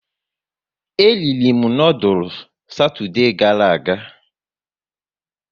E riri m noodules Satoude gara aga